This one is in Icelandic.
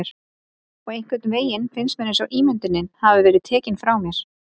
Og einhvernveginn finnst mér einsog ímyndunin hafi verið tekin frá mér.